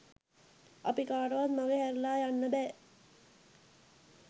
අපි කාටවත් මඟහැරලා යන්න බෑ.